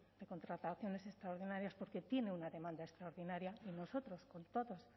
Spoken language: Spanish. de contrataciones extraordinarias porque tiene una demanda extraordinaria y nosotros con todas